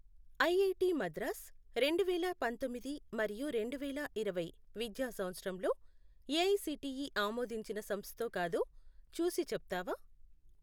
IIT Madras రెండువేల పంతొమ్మిది మరియు రెండువేల ఇరవై విద్యా సంవత్సరంలో ఏఐసిటిఈ ఆమోదించిన సంస్థో కాదో చూసి చెప్తావా?